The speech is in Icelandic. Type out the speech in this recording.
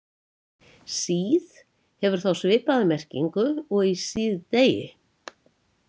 Síð- hefur þá svipaða merkingu og í síðdegi.